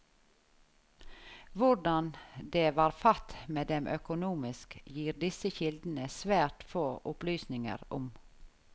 Hvordan det var fatt med dem økonomisk, gir disse kildene svært få opplysninger om.